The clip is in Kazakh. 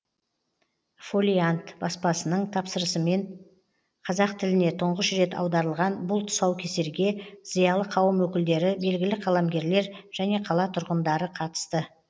фолиант баспасының тапсырысымен қазақ тіліне тұңғыш рет аударылған бұл тұсаукесерге зиялы қауым өкілдері белгілі қаламгерлер және қала тұрғандары қатысты